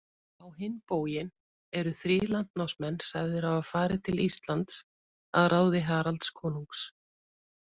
Á hinn bóginn eru þrír landnámsmenn sagðir hafa farið til Íslands að ráði Haralds konungs.